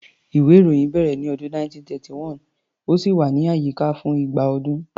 Ìwé-ìròyìn bẹ̀rẹ̀ ní ọdún 1731, ó sì wà ní àyíká fún igba ọdún.